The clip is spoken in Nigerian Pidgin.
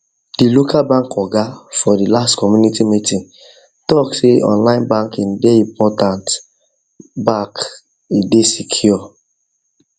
the local bank oga for the last community meetingtalk say online banking dey important back he dey secure